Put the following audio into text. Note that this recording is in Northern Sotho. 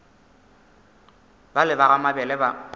bale ba ga mabele ba